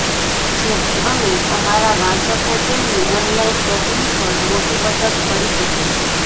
જેથી અમે અમારા વાંચકો તેમની ઓનલાઇન શોપિંગ પર મોટી બચત કરી શકે